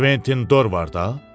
Quentin Dorvardı?